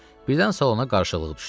Birdən salona qarşıqlıq düşdü.